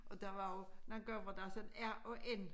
Og der var jo nogen gange hvor der sådan r og n